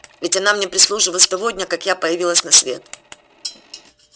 ведь она мне прислуживает с того дня как я появилась на свет